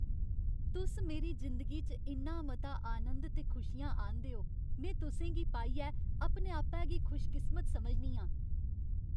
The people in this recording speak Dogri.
तुस मेरी जिंदगी च इन्ना मता आनंद ते खुशियां आह्नदे ओ। में तुसें गी पाइयै अपने आपै गी खुशकिस्मत समझनी आं।